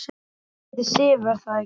Hún heitir Sif, er það ekki?